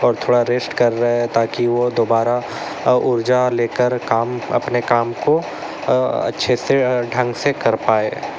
और थोड़ा रेस्ट कर रहे है ताकि वो दुबारा ऊर्जा लेकर काम अपने काम को अच्छे से ढंग से कर पाए।